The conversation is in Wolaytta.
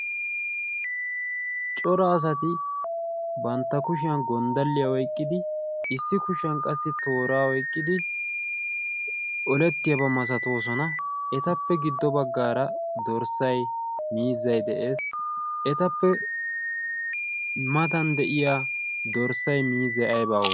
cora asati bantta kushiyan gonddalliyaa oyqqidi issi kushiyan qassi tooraa oyqqidi olettiyaabaa masatoosona. etappe giddo baggaara dorssay miizzay de'ees. etappe matan de'iya dorssay miizay aybaaa